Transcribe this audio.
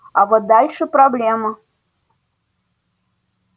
а вот дальше проблема